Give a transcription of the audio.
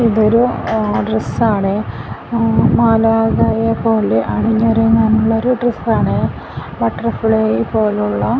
ഇതൊരു ങ് ഡ്രസ്സാണേ മാലാഖയെ പോലെ അണിഞ്ഞൊരുങ്ങാനുള്ള ഒരു ഡ്രസ്സാണേ ബട്ടർഫ്ലൈ പോലുള്ള--